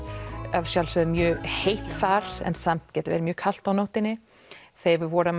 að sjálfsögðu mjög heitt þar en samt getur verið kalt á nóttunni þegar við vorum